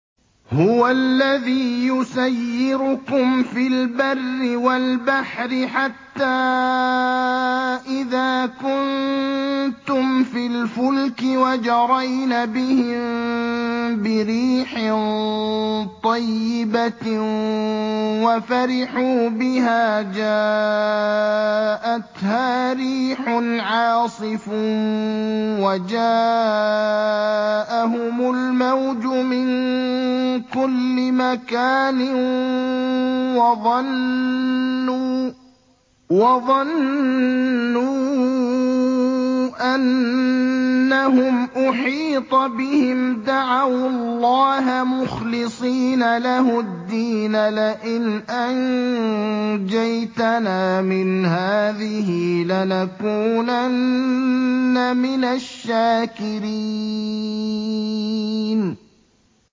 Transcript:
هُوَ الَّذِي يُسَيِّرُكُمْ فِي الْبَرِّ وَالْبَحْرِ ۖ حَتَّىٰ إِذَا كُنتُمْ فِي الْفُلْكِ وَجَرَيْنَ بِهِم بِرِيحٍ طَيِّبَةٍ وَفَرِحُوا بِهَا جَاءَتْهَا رِيحٌ عَاصِفٌ وَجَاءَهُمُ الْمَوْجُ مِن كُلِّ مَكَانٍ وَظَنُّوا أَنَّهُمْ أُحِيطَ بِهِمْ ۙ دَعَوُا اللَّهَ مُخْلِصِينَ لَهُ الدِّينَ لَئِنْ أَنجَيْتَنَا مِنْ هَٰذِهِ لَنَكُونَنَّ مِنَ الشَّاكِرِينَ